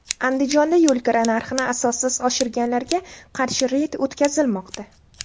Andijonda yo‘lkira narxini asossiz oshirganlarga qarshi reyd o‘tkazilmoqda.